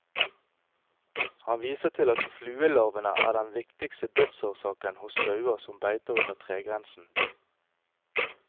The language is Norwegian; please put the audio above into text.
Han viser til at fluelarvene er den viktigste dødsårsaken hos sauer som beiter under tregrensen.